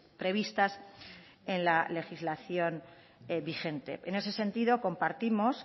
previstas en la legislación vigente en ese sentido compartimos